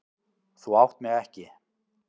Þú átt mig ekki.